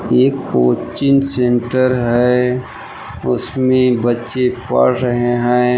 एक coaching centre है उसमें बच्चे पढ़ रहे हैं।